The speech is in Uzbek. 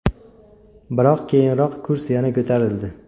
Biroq keyinroq kurs yana ko‘tarildi.